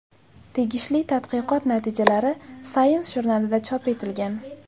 Tegishli tadqiqot natijalari Science jurnalida chop etilgan .